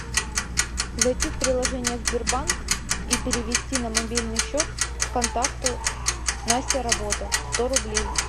зайти в приложение сбербанк и перевести на мобильный счет контакту настя работа сто рублей